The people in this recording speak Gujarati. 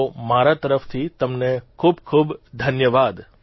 તો મારા તરફથી તમને ખૂબખૂબ ધન્યવાદ